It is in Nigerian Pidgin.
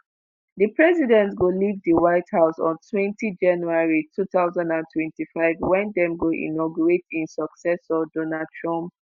di president go leave di white house ontwentyjanuary 2025 wen dem go inaugurate im successor donald trump.